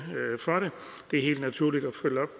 for det det er helt naturligt at